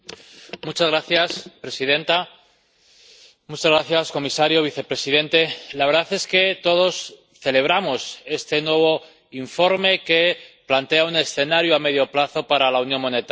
Señora presidenta, señor comisario y vicepresidente, la verdad es que todos celebramos este nuevo informe que plantea un escenario a medio plazo para la unión monetaria.